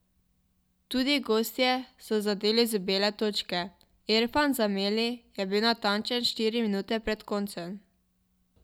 Tudi gostje so zadeli z bele točke, Erfan Zemeli je bil natančen štiri minute pred koncem.